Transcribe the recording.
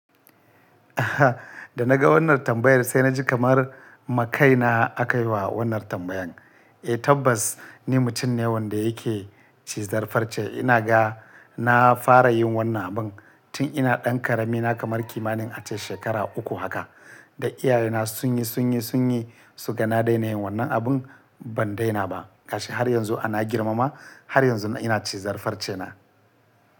Da naga wannan tambayar sai naji kamar makai na akayi wa wannan tambayan. Eh tabbas ni mutum ne wanda yake cizar farce. Ina ga na fara yin wannan abun tun ina ɗan ƙarami. Na kamar kimanin ace shekara uku haka. Da iyaye na sun yi, sun yi, sun yi suga na daina yin wannan abun ban daina ba. Gashi har yanzu ana girmama, har yanzu ina cizar farce na.